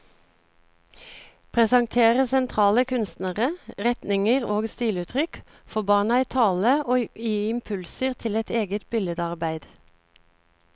Presentere sentrale kunstnere, retninger og stiluttrykk, få barna i tale og gi impulser til eget billedarbeid.